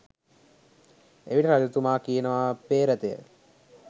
එවිට රජතුමා කියනවා පේ්‍රතය